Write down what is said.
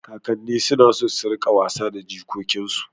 Kakanni suna son su riƙa wasa da jikokinsu